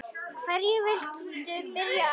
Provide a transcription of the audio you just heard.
Hverju viltu byrja á?